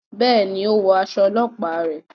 Béèni, o wọ aṣọ ọlọpa rẹ